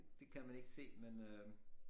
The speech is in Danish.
Det kan man ikke se men øh